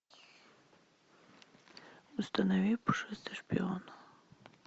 установи пушистый шпион